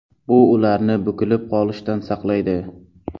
Bu ularni bukilib qolishdan saqlaydi.